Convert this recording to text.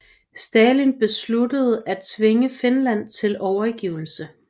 Stalin besluttede at tvinge Finland til overgivelse